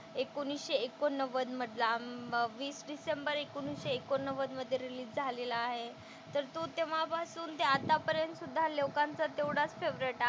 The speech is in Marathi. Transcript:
एकोणीसशे एकोणनव्वद मधला वीस डिसेंबर एकोणीसशे एकोणनव्वद मधे रिलीज झालेला आहे तर तो तेव्हापासून ते आतापर्यंतसुद्धा लोकांचा तेवढाच फेव्हरेट,